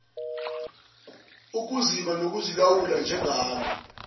ukuzibala nokuzilawula njengalo